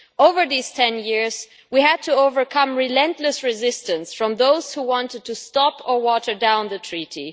Over those 10 years we had to overcome relentless resistance from those who wanted to stop or water down the treaty.